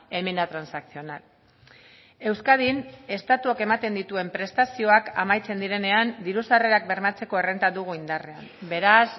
enmienda transaccional euskadin estatuak ematen dituen prestazioak amaitzen direnean diru sarrerak bermatzeko errenta dugu indarrean beraz